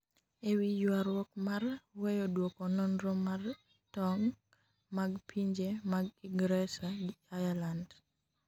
e wi ywaruok mar weyo duoko nonro mar tong mag pinje mag ingresa gi ireland